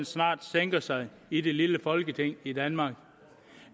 snart sænker sig i det lille folketing i danmark